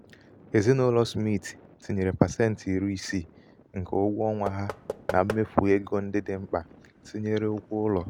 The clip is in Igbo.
ezinaụlọ smith um tinyere pasenti iri isii nke ụgwọ ọnwa ha na mmefu égo ndị dị mkpa tinyere ụgwọ ụlọ.